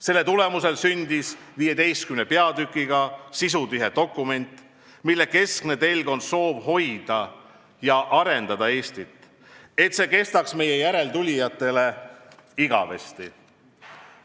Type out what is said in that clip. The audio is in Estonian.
Selle tulemusel sündis 15 peatükiga sisutihe dokument, mille keskne telg on soov hoida ja arendada Eestit, et see kestaks meie järeltulijatele igavesti.